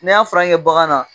N'i y'a fura kɛ bagan na